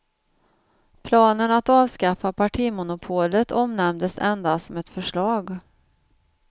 Planen att avskaffa partimonopolet omnämndes endast som ett förslag.